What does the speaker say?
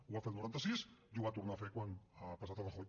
ho va fer al noranta sis i ho va tornar a fer quan ha passat el rajoy